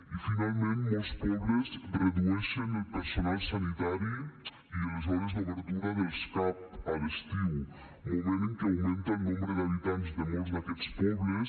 i finalment molts pobles redueixen el personal sanitari i les hores d’obertura dels cap a l’estiu moment en què augmenta el nombre d’habitants de molts d’aquests pobles